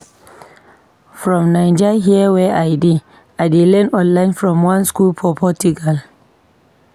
From Naija here wey I dey, I dey learn online from one skool for Portugal.